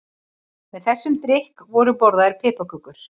Með þessum drykk voru borðaðar piparkökur.